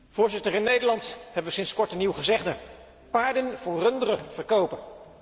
Voorzitter, in Nederland hebben we sinds kort een nieuw gezegde 'paarden voor runderen verkopen'.